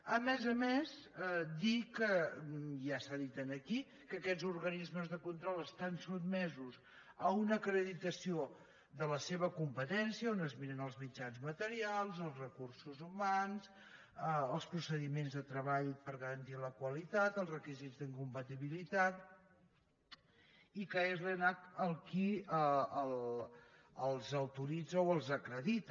a més a més dir que ja s’ha dit aquí aquests organismes de control estan sotmesos a una acreditació de la seva competència on es miren els mitjans materials els recursos humans els procediments de treball per garantir la qualitat els requisits d’incompatibilitat i és l’enac qui els autoritza o els acredita